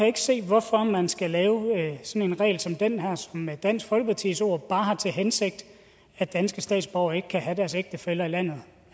ikke se hvorfor man skal have en regel som den her som med dansk folkepartis ord bare har til hensigt at danske statsborgere ikke kan have deres ægtefæller i landet